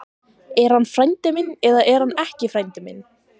Er hann frændi minn eða er hann ekki frændi minn?